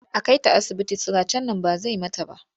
A kai ta asibiti siracen nan ba zai mata ba.